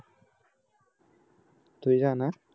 तुझ्या ना